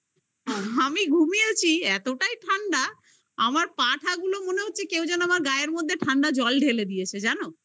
আমি ঘুমিয়েছি এতটাই ঠান্ডা আমার পাটা গুলো মনে হচ্ছে কেউ যেন আমার গায়ের মধ্যে ঠান্ডা জল ঢেলে দিয়েছে জানো